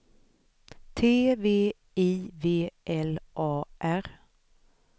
T V I V L A R